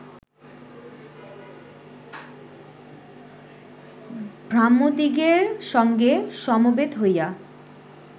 ব্রাহ্মদিগের সঙ্গে সমবেত হইয়া